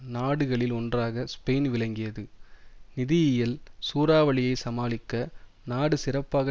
நாடுகளில் ஒன்றாக ஸ்பெயின் விளங்கியது நிதியியல் சூறாவளியை சமாளிக்க நாடு சிறப்பாக